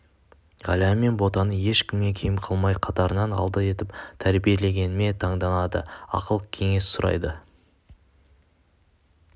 ғалия мен ботаны ешкімнен кем қылмай қатарының алды етіп тәрбиелегеніме таңданады ақыл-кеңес сұрайды